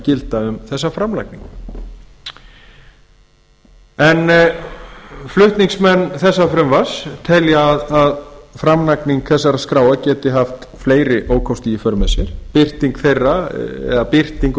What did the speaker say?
gilda um þessa framlagningu flutningsmenn þessa frumvarps telja að framlagning þessara skráa geti haft fleiri ókosti í för með sér birting